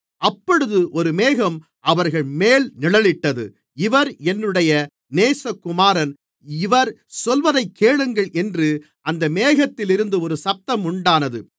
அப்பொழுது ஒரு மேகம் அவர்கள்மேல் நிழலிட்டது இவர் என்னுடைய நேசகுமாரன் இவர் சொல்வதைக் கேளுங்கள் என்று அந்த மேகத்திலிருந்து ஒரு சத்தம் உண்டானது